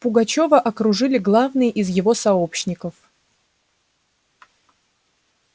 пугачёва окружили главные из его сообщников